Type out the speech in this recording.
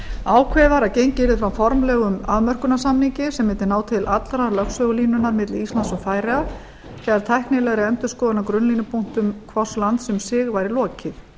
ákveðið var að gengið yrði frá formlegum afmörkunarsamningi sem mundi ná til allrar lögsögulínunnar milli íslands og færeyja sé tæknilegri endurskoðun á grunnlínupunktum hvors lands um sig væri lokið